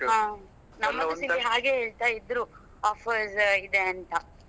ಹಾ ಹಾಗೆ ಹೇಳ್ತ ಇದ್ರು offers ಇದೆ ಅಂತ.